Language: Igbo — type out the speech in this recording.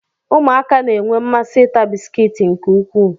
ụmụaka na-enwe mmasị ịta bisikiiti nke ukwuu